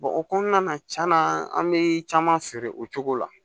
o kɔnɔna na tiɲɛna an bɛ caman feere o cogo la